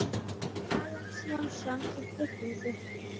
Axel Jónsson:.í tryggingu?